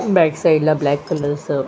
back side ला black colour स --